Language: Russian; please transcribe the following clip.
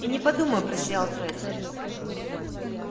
и не подумаю просиял фред